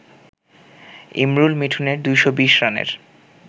ইমরুল-মিঠুনের ২২০ রানের